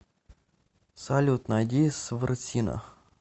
салют найди сврсина